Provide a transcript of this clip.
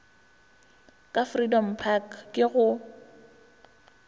ka freedom park ke go